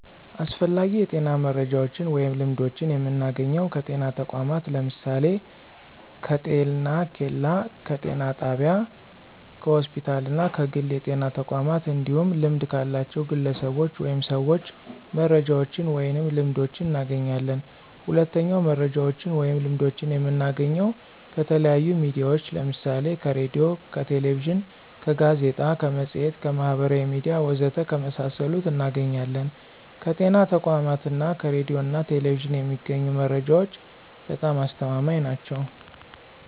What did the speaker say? አስፈላጊ የጤና መረጃዎችን ወይም ልምዶችን የምናገኘው ከጤና ተቋማት ለምሳሌ፦ ከጤኬላ፣ ከጤና ጣቢያ፣ ከሆስፒታል እና ከግል የጤና ተቋማት እንዲሁም ልምድ ካላቸው ግለሰቦች ወይም ሰዎች መረጃዎችን ወይንም ልምዶችን እናገኛለን። ሁለተኛው መረጃዎችን ወይም ልምዶችን የምናገኘው ከተለያዩ ሚዲያዎች ለምሳሌ ከሬዲዮ፣ ከቴሌቪዥን፣ ከጋዜጣ፣ ከመፅሔት፣ ከማህበራዊ ሚዲያ ወዘተ ከመሳሰሉት እናገኛለን። ከጤና ተቋማት እና ከሬዲዮ ና ቴሌቪዥን የሚገኙ መረጃዎች በጣም አስተማማኝ ናቸው።